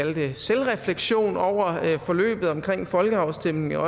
en vis selvrefleksion over forløbet omkring folkeafstemningen og